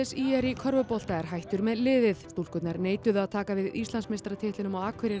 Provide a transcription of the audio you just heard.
í körfubolta er hættur með liðið stúlkurnar neituðu að taka við Íslandsmeistaratitlinum á Akureyri